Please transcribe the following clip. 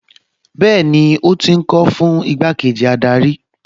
Bẹ́ẹ̀ni ó ti ń kó o fún igbákejì adarí